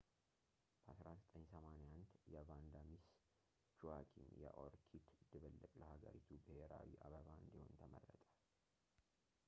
በ1981 የቫንዳ ሚስ ጁዋኪም የኦርኪድ ድብልቅ ለሃገሪቱ ብሔራዊ አበባ እንዲሆን ተመረጠ